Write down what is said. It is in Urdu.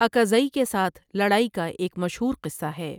اکاذٸ کی ساتھ لڑای کا ایک مشھور قصہ ہے۔